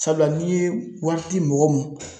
Sabula n'i ye wari di mɔgɔ ma